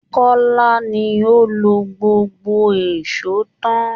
Kọ́lá ni ó lo gbogbo èṣó tán